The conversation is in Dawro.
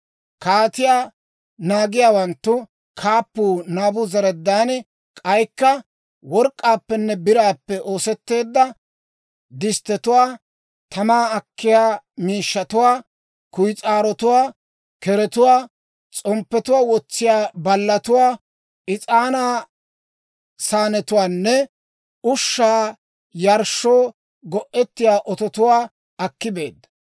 Kaatiyaa naagiyaawanttu kaappuu Naabuzaradaani k'aykka work'k'aappenne biraappe oosetteedda disttetuwaa, tamaa akkiyaa miishshatuwaa, kuyis'aarotuwaa, keretuwaa, s'omppiyaa wotsiyaa ballatuwaa, is'aanaa saanetuwaanne ushshaa yarshshoo go'ettiyaa ototuwaa akki beedda.